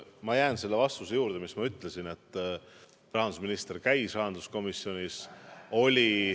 Ma jään selle vastuse juurde, mis ma ütlesin – rahandusminister käis rahanduskomisjonis.